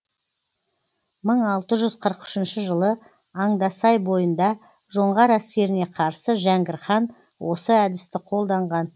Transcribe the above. мың алты жүз қырық үшінші жылы андасай бойында жоңғар әскеріне қарсы жәңгір хан осы әдісті қолданған